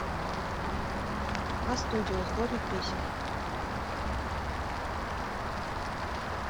а студио сборник песен